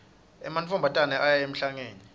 emantfombatane aya emhlangeni